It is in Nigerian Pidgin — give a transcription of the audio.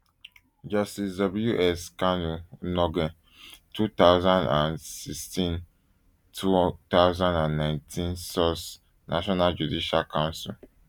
justice w s nkanu onnoghen two thousand and sixteen two um thousand and nineteen source national judicial council